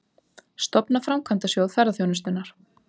Stofna Framkvæmdasjóð ferðaþjónustunnar